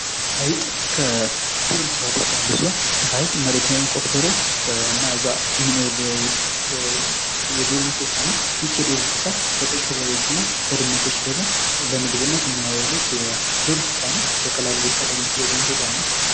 አይጥ ከዱር እንስሳዎች መካከል አንዱ ሲሆን መሬትን ቆፍሮ እና እዛ የሚኖር የዱር እንስሳ ነው። ይህች የዱር እንስሳ ለቀይ ቀበሮዎችና ድመቶች ደግሞ ለምግብነት የሚያውሉት የዱር እንስሳ ነው። በቀላሉ ሊታደን የሚችል የዱር እንስሳ ነው።